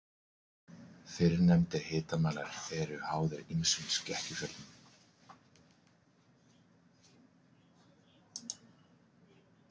Fyrrnefndir hitamælar eru háðir ýmsum skekkjuvöldum.